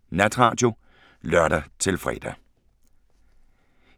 05:03: Natradio (lør-fre)